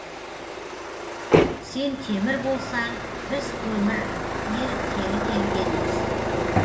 сен темір болсаң біз көмір еріткелі келгенбіз